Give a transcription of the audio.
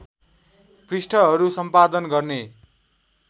पृष्ठहरू सम्पादन गर्ने